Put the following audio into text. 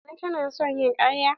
Nana ta na son yin karya.